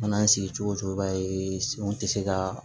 Mana sigi cogo o cogo i b'a ye senw tɛ se ka